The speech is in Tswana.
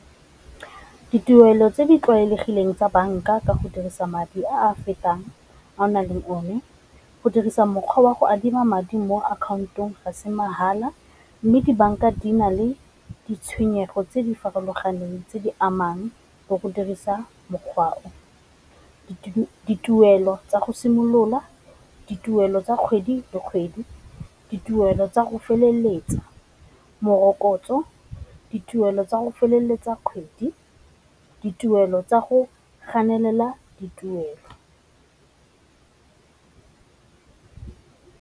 Ditirelo tse di tlwaelegileng tsa banka ka go dirisa madi a a fetang a o nang le o ne, go dirisa mokgwa wa go adima madi mo akhaontong ga se mmala, mme dibanka di na le ditshwenyego tse di farologaneng tse di amang bo go dirisa mokgwa o, dituelo tsa go simolola, dituelo tsa kgwedi le kgwedi, dituelo tsa go feleletsa morokotso, dituelo tsa go feleletsa kgwedi, dituelo tsa go ganelela dituelo.